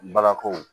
Balakɔw